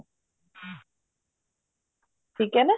ਠੀਕ ਹੈ ਨਾ